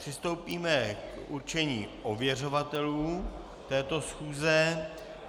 Přistoupíme k určení ověřovatelů této schůze.